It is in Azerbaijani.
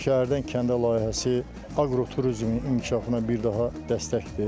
Şəhərdən kəndə layihəsi aqroturizmin inkişafına bir daha dəstəkdir.